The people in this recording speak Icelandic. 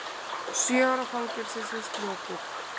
Sjö ára fangelsisvist lokið